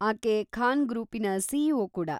ಆಕೆ ಖಾನ್‌ ಗ್ರೂಪಿನ ಸಿ.ಇ.ಓ. ಕೂಡಾ.